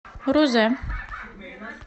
рузе